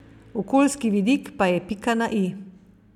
Okoljski vidik pa je pika na i.